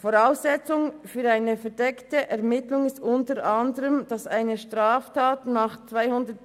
Voraussetzung für eine verdeckte Ermittlung ist unter anderem, dass eine Straftat nach Artikel